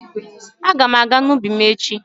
Aga m aga n'ubi m echi.